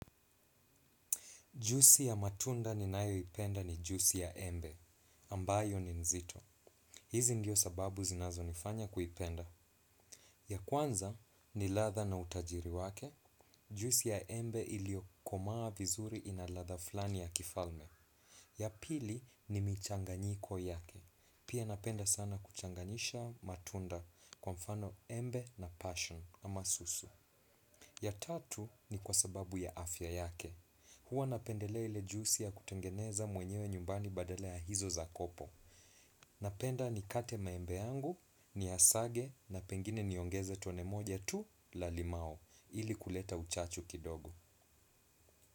Juisi ya matunda ninayoipenda ni juisi ya embe, ambayo ni nzito. Hizi ndio sababu zinazo nifanya kuipenda. Ya kwanza ni ladha na utajiri wake, juisi ya embe iliyokomaa vizuri ina ladha fulani ya kifalme. Ya pili ni michanganyiko yake, pia napenda sana kuchanganyisha matunda kwa mfano embe na passion ama susu. Ya tatu ni kwa sababu ya afya yake. Huwa napendelea ile juisi ya kutengeneza mwenyewe nyumbani badala ya hizo za kopo. Napenda nikate maembe yangu, niyasage na pengine niongeze tone moja tu la limau ili kuleta uchachu kidogo.